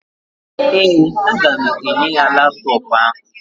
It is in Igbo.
Ee, m ga-enye ya laptọọpụ ahụ.